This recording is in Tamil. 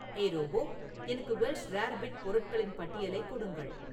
ஏய் ரோபோ எனக்கு வெல்ஷ் ரேர்பிட் பொருட்களின் பட்டியலைக் கொடுங்கள்